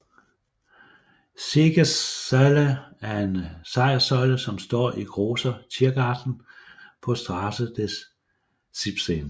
Siegessäule er en sejrssøjle som står i Großer Tiergarten på Strasse des 17